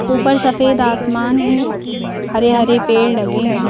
ऊपर सफेद आसमान है हरे हरे पेड़ लगे हैं।